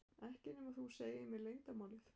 Ekki nema þú segir mér leyndarmálið.